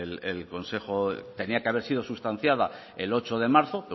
tenía que haber sido sustanciada el ocho de marzo